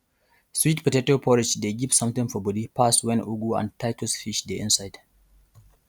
sweet potato porridge dey give something for body pass wen ugu and titus fish dey inside